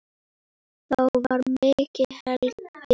Þá var mikið hlegið.